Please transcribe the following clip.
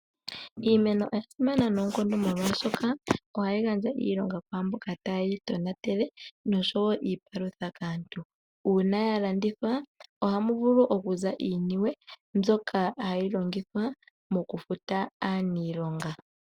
Iimeno oya simana noonkondo molwaashoka ohayi gandja iilonga kwaamboka taye yi tonatele noshowo iipalutha kaantu. Uuna ya landithwa ohamu vulu okuza iiniwe mbyoka hayi longithwa moku futa aanilonga.